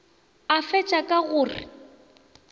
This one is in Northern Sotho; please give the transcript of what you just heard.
a fetša ka go re